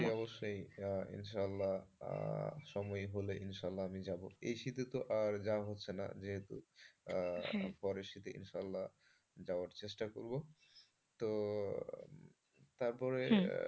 অবশ্যই অবশ্যই ইনশাআল্লাহ সময় হলে ইনশাল্লাহ আমি যাব। এই শীতে তো আর যাওয়া হচ্ছে না যেহেতু হ্যাঁ পরের শীতে ইনশাল্লাহ যাওয়ার চেষ্টা করব।